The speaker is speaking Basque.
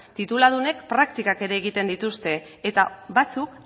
tituludunek praktika ere egiten dituzte eta batzuk